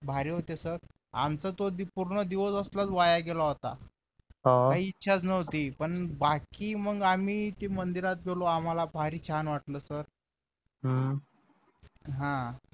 भारी होते सर आमचा तो पूर्ण दिवस असलाच वाया गेला होता काही इच्छाच नव्हती पण बाकी मग आम्ही ते मंदिरात गेलो आम्हाला भारी छान वाटलं सर हा